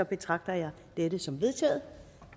betragter jeg dette som vedtaget